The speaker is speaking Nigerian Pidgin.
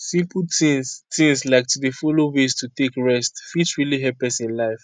simple tins tins like to dey follow ways to take rest fit really help person life